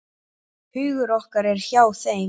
Hugur okkar er hjá þeim.